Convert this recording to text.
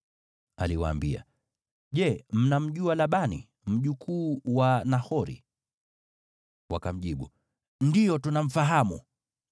Aliwaambia, “Je, mnamjua Labani, mjukuu wa Nahori?” Wakamjibu, “Ndiyo, tunamfahamu.”